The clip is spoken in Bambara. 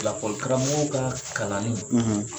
lakɔli karamɔgɔ ka kalanni ,